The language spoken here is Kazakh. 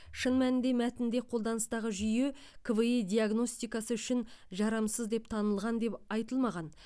шын мәнінде мәтінде қолданыстағы жүйе кви диагностикасы үшін жарамсыз деп танылған деп айтылмаған